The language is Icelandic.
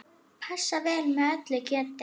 Passar vel með öllu kjöti.